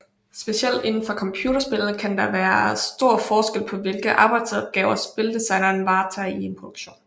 Specielt indenfor computerspil kan der være stor forskel på hvilke arbejdsopgaver spildesigneren varetager i en produktion